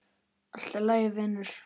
Allt í lagi, vinur.